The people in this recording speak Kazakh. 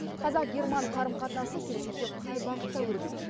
қазақ герман қарым қатынасы келешекте қай бағытта өрбиді